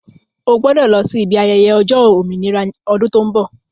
Ó gbọ́dọ̀ lọ sí ibi ayẹyẹ ọjọ́ òmìnira ọdún tó ń bọ̀